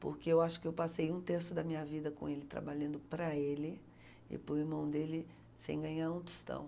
Porque eu acho que eu passei um terço da minha vida com ele, trabalhando para ele, e por mão dele, sem ganhar um tostão.